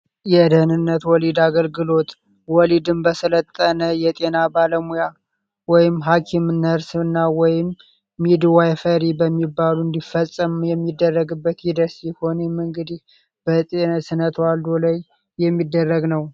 የደህንነት ወሊድ አገልግሎት ወሊድን በስለጠነ የጤና ባለሙያ ወይም ሃኪም ነርስ እና ወይም ሚድ ዋይፈሪ በሚባሉ እንዲፈጸም የሚደረግበት ይደርሲህ ሆኔም እንግዲህ በጤነ ስነት ዋልዶ ላይ የሚደረግ ነው፡፡